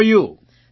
હોવ are you